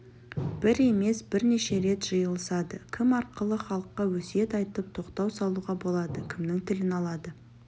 бір емес бірнеше рет жиылысады кім арқылы халыққа өсиет айтып тоқтау салуға болады кімнің тілін алады